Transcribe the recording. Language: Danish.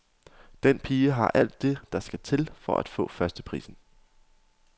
Den pige har alt det, der skal til for at få førsteprisen.